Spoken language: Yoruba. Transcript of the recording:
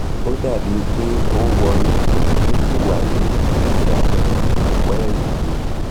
ó dàbí i pé ó um wọnú ó sì wà ní ìsàlẹ̀ um ọ̀pá ẹ̀yìn um mi